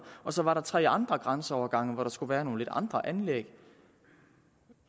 og så var der tre andre grænseovergange hvor der skulle være nogle lidt andre anlæg